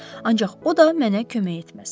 Ancaq o da mənə kömək etməz.